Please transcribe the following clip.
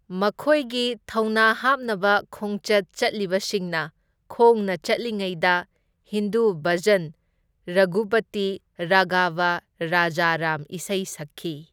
ꯃꯈꯣꯏꯒꯤ ꯊꯧꯅꯥ ꯍꯥꯞꯅꯕ ꯈꯣꯡꯆꯠ ꯆꯠꯂꯤꯕꯁꯤꯡꯅ ꯈꯣꯡꯅ ꯆꯠꯂꯤꯉꯩꯗ ꯍꯤꯟꯗꯨ ꯚꯖꯟ ꯔꯘꯨꯄꯇꯤ ꯔꯥꯘꯕ ꯔꯖ ꯔꯥꯝ ꯏꯁꯩ ꯁꯛꯈꯤ꯫